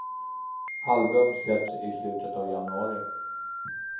Album släpps i slutet av januari.